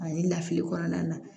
Ani lafili kɔnɔna na